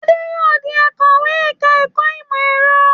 Adé yóò di akọ̀wé ẹ̀ka-ẹ̀kọ́ ìmọ̀-ẹ̀rọ.